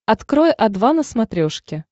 открой о два на смотрешке